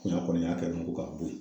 a kɔni y'a kɛ dɔrɔn ko ka bo yen.